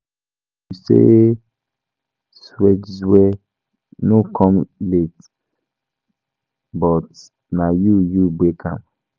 You say .sjexwe no come late but na you you break am.